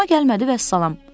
Xoşuma gəlmədi vəssalam.